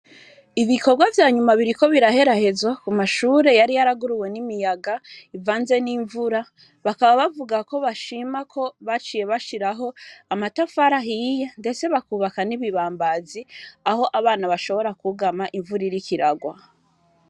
Ibikorwa vyanyuma biriko biraherahezwa ,k'umashure yari yarahenuwe n'imiyaga, ivanze nimvura ,bakaba bavuga ko bashima ko baciye bashiraho amatafari ahiye, ndetse bakubaka n'ibibambazi, aho abana bashobora kwugama imvura iriko irarwa.